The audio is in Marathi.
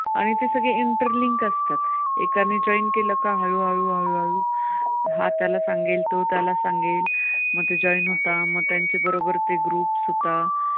आणि ते सगळे interlink असतात. एकाने join केलं का हळूहळू हळूहळू हा त्याला सांगेल तो त्याला सांगेल मग ते join होतात, त्यांच्या बरोबर ते group होतात.